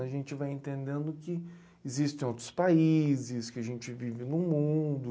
A gente vai entendendo que existem outros países, que a gente vive no mundo.